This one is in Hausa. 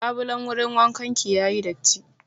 Labulan wurin wankan ki ya yi datti.